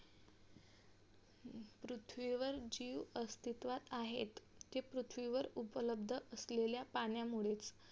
पृथ्वीवर जीव अस्तित्वात आहे ते पृथ्वीवर उपलब्ध असलेल्या पाण्यामुळे